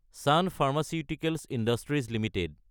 চোন pharmaceuticals industries Ltd